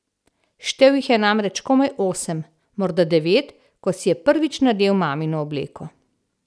Štel jih je namreč komaj osem, morda devet, ko si je prvič nadel mamino obleko.